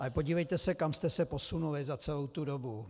Ale podívejte se, kam jste se posunuli za celou tu dobu.